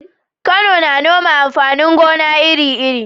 Kano na noma amfanin gona iri-iri.